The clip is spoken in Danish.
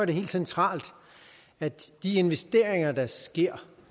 det helt centralt at de investeringer der sker